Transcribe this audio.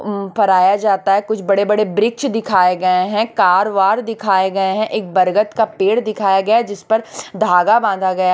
उम् फराया जाता है कुछ बड़े बड़े ब्रिक्ष दिखाए गए हैं कार वार दिखाए गए हैं एक बरगद का पेड़ दिखाया गया है जिसपर धागा बांधा गया--